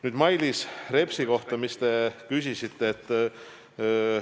Nüüd see, mis te küsisite Mailis Repsi kohta.